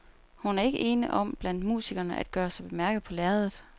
Hun er ikke ene om blandt musikerne at gøre sig bemærket på lærredet.